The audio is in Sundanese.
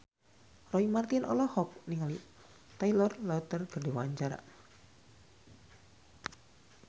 Roy Marten olohok ningali Taylor Lautner keur diwawancara